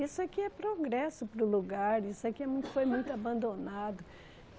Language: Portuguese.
Isso aqui é progresso para o lugar, isso aqui é muito foi muito abandonado.